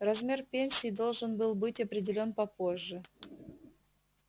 размер пенсии должен был быть определён попозже